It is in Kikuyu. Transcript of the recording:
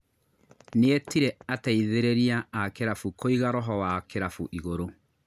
Nĩetire ateithĩrĩria a kĩrabu kũiga roho wa kĩrabu igũrũ